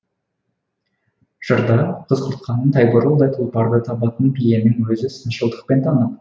жырда қыз құртқаның тайбурылдай тұлпарды табатын биенің өзін сыншылдықпен танып